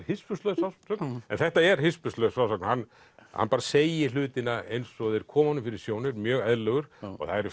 hispurslaus frásögn en þetta er hispurslaus frásögn hann hann bara segir hlutina eins og þeir koma honum fyrir sjónir mjög eðlilegur og það eru